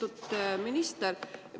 Lugupeetud minister!